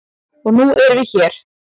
Og nú erum við hér.